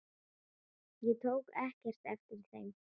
Ég tók ekkert eftir þeim.